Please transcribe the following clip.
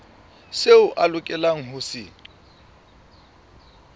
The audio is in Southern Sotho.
seo a lokelang ho se